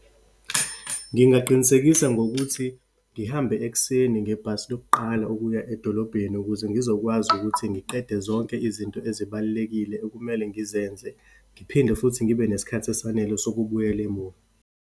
Ngingaqinisekisa ngokuthi ngihambe ekuseni ngebhasi lokuqala ukuya edolobheni, ukuze ngizokwazi ukuthi ngiqede zonke izinto ezibalulekile ekumele ngizenze. Ngiphinde futhi ngibe nesikhathi esanele sokubuyela emuva.